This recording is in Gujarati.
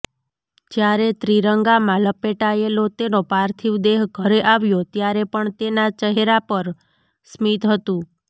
જ્યારે ત્રિરંગામાં લપેટાયેલો તેનો પાર્થિવ દેહ ઘરે આવ્યો ત્યારે પણ તેના ચહેરા પર સ્મિત હતું